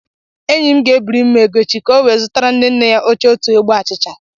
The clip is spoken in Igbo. Enyi m ga-ebiri m ego echi, ka o wee zụtara nne nne ya ochie otu ogbe achịcha